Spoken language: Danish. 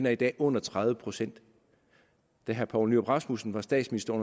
er i dag under tredive procent da herre poul nyrup rasmussen var statsminister i